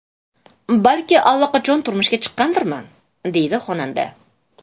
Balki allaqachon turmushga chiqqandirman?”, deydi xonanda.